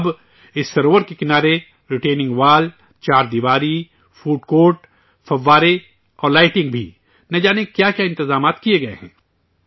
اب، اس سروور کے کنارے رٹینگ وال، چار دیواری، فوڈ کورٹ، فوارے اور لائٹنگ بھی نہ جانے کیا کیا انتظامات کیے گئے ہیں